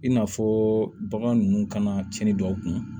I n'a fɔ bagan ninnu kana cɛni dɔw kun